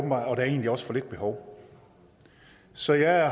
er egentlig også for lille et behov så jeg